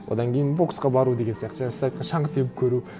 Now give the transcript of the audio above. одан кейін боксқа бару деген сияқты жаңа сіз айтқан шаңғы теуіп көру